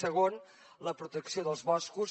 segon la protecció dels boscos